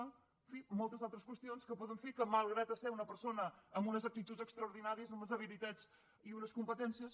en fi moltes altres qüestions que poden fer que malgrat ser una persona amb unes actituds extraordinàries amb unes habilitats i unes competències